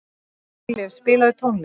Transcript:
Dýrleif, spilaðu tónlist.